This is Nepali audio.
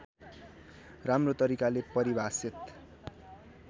राम्रो तरिकाले परिभाषित